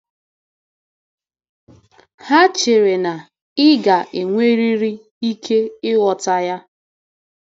Ha chere na ị ga-enwerịrị ike ịghọta ya.